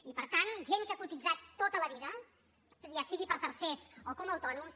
i per tant gent que ha cotitzat tota la vida ja sigui per tercers o com a autònoms